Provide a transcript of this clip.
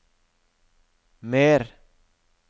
mer